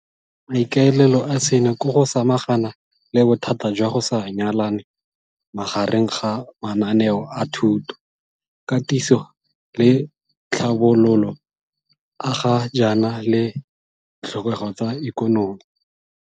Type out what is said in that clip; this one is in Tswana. Maikaelelo a seno ke go samagana le bothata jwa go sa nyalane magareng ga mananeo a thuto, katiso le tlhabololo a ga jaana le ditlhokego tsa ikonomi.